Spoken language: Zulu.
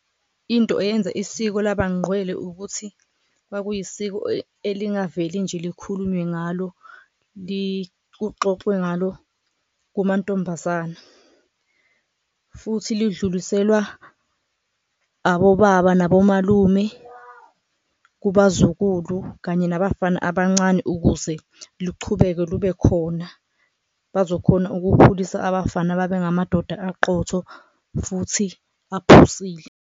Into eyenza isiko labanqwele ukuthi kwakuyisiko elingaveli nje likhulunywe ngalo, kuxoxwe ngalo kumantombazane futhi ludluliselwa abobaba nabomalume kubazukulu kanye nabafana abancane. Ukuze luchubeke lube khona bazokhona ukukhulisa abafana babe ngamadoda aqotho futhi aphusile.